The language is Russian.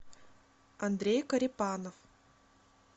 андрей корепанов